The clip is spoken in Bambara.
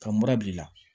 Ka murabi la